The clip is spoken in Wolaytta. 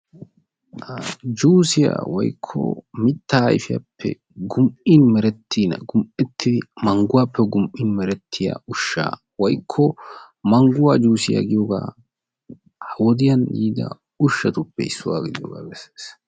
juussiya woykko mitaa ayfiyaappe gum'in meretiina, gum'in meretiina manguwaape gum; in merettiya ushaa woykko mangguwa juussiya giyogaa. ha wodiyan yiida ushatuppe issuwa gidiyoogaa besees.